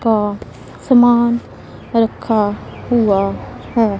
का समान रखा हुआ है।